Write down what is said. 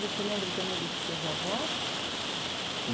Você lembra também dos seus avós?